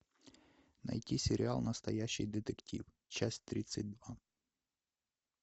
найти сериал настоящий детектив часть тридцать два